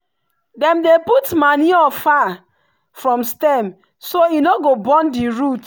dem dey put manure far from stem so e no go burn the root.